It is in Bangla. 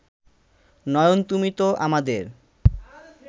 নয়ন তুমি তো আমাদের